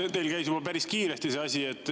Jah, teil käis juba päris kiiresti see asi.